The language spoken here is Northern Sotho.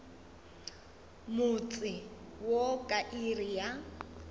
motse wo ka iri ya